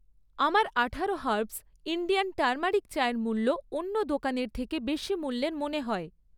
আমার আঠারো herbs Indian turmeric চায়ের মূল্য অন্য দোকানের থেকে বেশি মূল্যের মনে হয়।